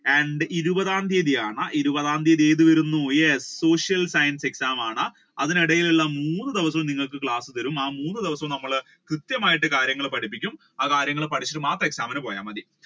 and ഇരുപതാം തിയതി ആണ് ഇരുപതാം തിയതി ഏത് വരുന്നു yes, social science exam ആണ് അതിനിടയിലുള്ള മൂന്ന് ദിവസവും നിങ്ങൾക്ക് class തരും ആ മൂന്ന് ദിവസം നമ്മൾ കൃത്യമായി കാര്യങ്ങൾ പഠിപ്പിക്കും ആ കാര്യങ്ങൾ പഠിച്ചു മാത്രം exam ഇൻ പോയ മതി